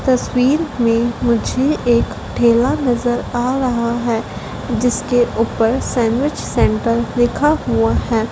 तस्वीर मे मुझे एक ठेला नजर आ रहा है जिसके उपर सैंडविच सेंटर लिखा हुआ है।